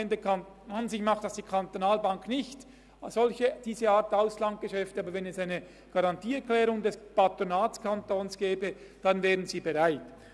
An und für sich macht die BEKB diese Art von Auslandsgeschäften nicht, aber wenn es eine Garantieerklärung des Patronatskantons gäbe, wäre sie bereit.